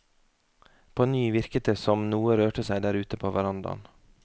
På ny virket det som noe rørte seg der ute på verandaen.